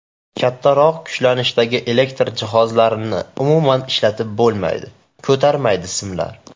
Kattaroq kuchlanishdagi elektr jihozlarini umuman ishlatib bo‘lmaydi, ko‘tarmaydi simlar.